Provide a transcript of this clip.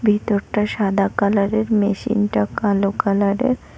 ভেতরটা সাদা কালার -এর মেশিন -টা কালো কালার -এর।